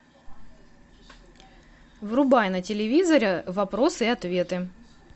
врубай на телевизоре вопросы и ответы